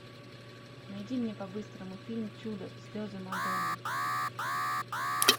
найди мне по быстрому фильм чудо слезы мадонны